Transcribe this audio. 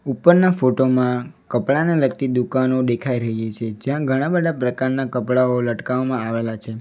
ઉપરના ફોટો માં કપડાને લગતી દુકાનો દેખાઈ રહી છે જ્યાં ઘણા બધા પ્રકારનાં કપડાઓ લટકાવવામાં આવેલા છે.